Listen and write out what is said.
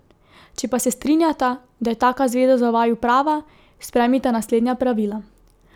Če pa se strinjata, da je taka zveza za vaju prava, sprejmita naslednja pravila.